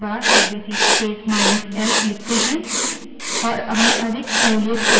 और हम अधिक सहूलियत के साथ वही परिणाम पा सकते हैं